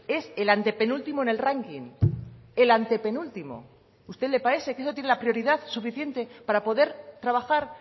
es el antepenúltimo en el ranking el antepenúltimo a usted le parece que eso tiene la prioridad suficiente para poder trabajar